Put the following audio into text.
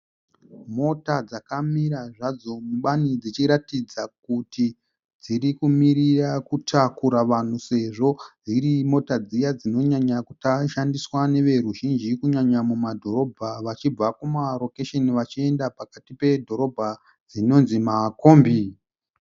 Mota dzakamira zvadzo mubani dzichiratidza kuti dzirikumirira kutakura vanhu sezvo dziri mota dziya dzinonyanya kushandiswa neveruzhinji kunyanya mumadhorobha vachibva kumarokesheni vachienda pakati pedhorobha dzinonzi makombi.